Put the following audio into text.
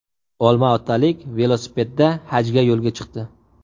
Olmaotalik velosipedda hajga yo‘lga chiqdi.